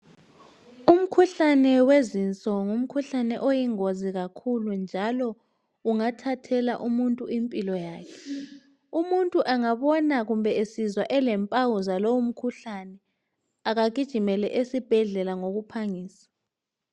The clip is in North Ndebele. Umkhuhlane wezinso ngumkhuhlane oyingozi kakhulu njalo ungathathela umuntu impilo yakhe. Umuntu angabona kumbe esizwa elempawu zalowo mkhuhlane akagijimele esibhedlela ngokuphangisa.